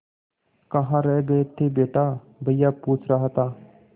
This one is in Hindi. कहाँ रह गए थे बेटा भैया पूछ रहा था